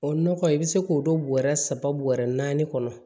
O nɔgɔ i bɛ se k'o don bɔrɛ saba bɔrɛ naani kɔnɔ